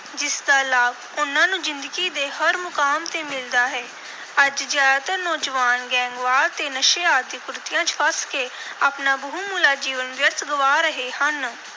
ਜਿਸ ਦਾ ਲਾਭ ਉਨ੍ਹਾਂ ਨੂੰ ਜ਼ਿੰਦਗੀ ਦੇ ਹਰ ਮੁਕਾਮ ਤੇ ਮਿਲਦਾ ਹੈ। ਅੱਜ ਜ਼ਿਆਦਾਤਰ ਨੌਜਵਾਨ ਗੈਂਗਵਾਰ ਤੇ ਨਸ਼ੇ ਆਦਿ ਕੁਰੀਤੀਆਂ ਚ ਫਸ ਕੇ ਆਪਣਾ ਬਹੁਮੁੱਲਾ ਜੀਵਨ ਵਿਅਰਥ ਗਵਾ ਰਹੇ ਹਨ।